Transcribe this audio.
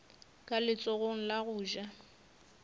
ka letsogong la go ja